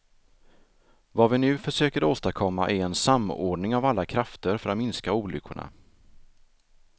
Vad vi nu försöker åstadkomma är en samordning av alla krafter för att minska olyckorna.